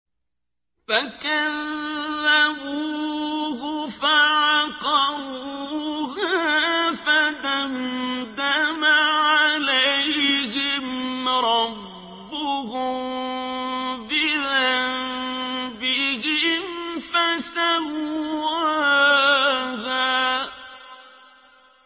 فَكَذَّبُوهُ فَعَقَرُوهَا فَدَمْدَمَ عَلَيْهِمْ رَبُّهُم بِذَنبِهِمْ فَسَوَّاهَا